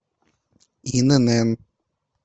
инн